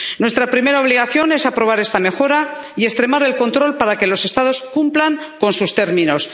Nuestra primera obligación es aprobar esta mejora y extremar el control para que los Estados cumplan con sus términos.